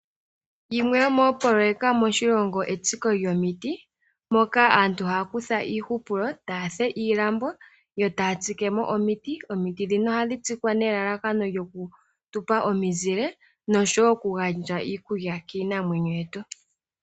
Yimwe yomoopoloyeka moshilongo etsiko lyomiti moka aantu haya kutha iihupulo, taya fulu iilambo yo taya tsike mo omiti. Omiti ndhino ohadhi tsikwa nelalakano lyokutupa omizile nosho woo okugandja iikulya kiinamwenyo yetu.